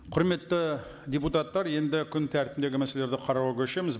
құрметті депутаттар енді күн тәртібіндегі мәселелерді қарауға көшеміз